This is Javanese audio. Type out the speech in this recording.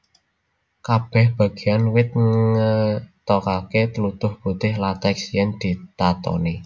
Kabèh bagéan wit ngetokaké tlutuh putih lateks yèn ditatoni